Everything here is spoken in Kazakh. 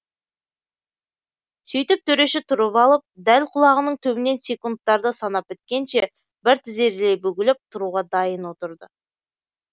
сөйтіп төреші тұрып алып дәл құлағының түбінен секундтарды санап біткенше бір тізерлей бүгіліп тұруға дайын отырды